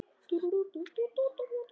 Okkur liggur ekkert á